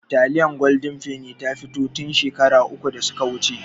Taliyar gwaldin ta fito tin shekaru uku da suka wuce